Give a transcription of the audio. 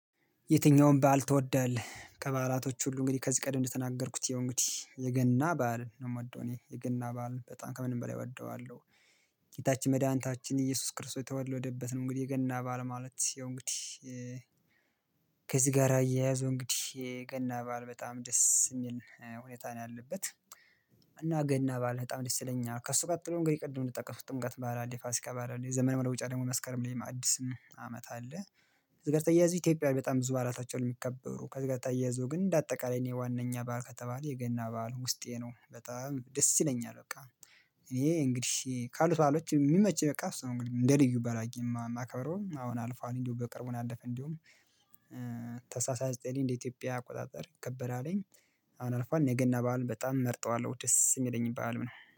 የትኛውም በዓል ትወዳለህ? ከባላቶች ሁሉ እንግዲህ ከዚህ ቀድም እንደተናገርኩት ይሄው እንግዲህ የገና በዓልን ነው ምወደው እኔ የገና በዓልን በጣም ከምንም በላይ እወደዋለሁ። ጌታችን መድኃኒታችን ኢየሱስ ክርስቶስ የተወለደበት ነው እንግዲህ የገና በዓል ማለት ይሄው እንግዲህ ከዚህ ጋር አያያዙ እንግዲህ ገና በዓል በጣም ደስ የሚል ሁኔታ ነው ያለበት። እና ገና በዓል በጣም ደስ ይለኛል ከእሱ ቀጥሎ እንግዲህ ቅድም እንደጠቀስኩት ጥምቀት በዓል አለ ፋሲካ በዓል አለ የዘመን መለወጫ ላይ መስከረም ላይ አዲስ አመት አለ። ከዚህ ጋር ተያያዙ ኢትዮጵያ በጣም ብዙ በዓላቶች አሉ የሚከበሩ ከዚህ ጋር ተያይዘው ግን እንደ አጠቃላይ እኔ ዋነኛ ባዓል ከተባለ የገና ባዓል ውስጤ ነው በጣም ደስ ይለኛል በቃ። እኔ እንግዲህ ካሉት ባአሎች የሚመቸኝ በቃ እሱ ነው እንግዲህ እንደ ልዩ በዓል አርጊ የማከብረው አሁን አልፏል እንዲሁ በቅርቡ ነው ያለፈው እንዲያዉም። ታህሳስ ሃያ ዘጠኝ እንደ ኢትዮጵያ አቆጣጠር ይከበራልኝ። አሁን አልፏል የገና በዓሉን በጣም እመርጠዋለሁ ደስ የሚለኝም በዓል ነው